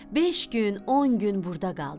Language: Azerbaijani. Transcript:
Beş gün, on gün burda qaldı.